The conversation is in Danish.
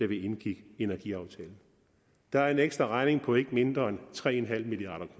vi indgik energiaftalen der er en ekstraregning på ikke mindre end tre milliard